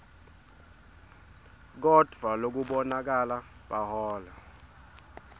kodvwa lokubonakala bahola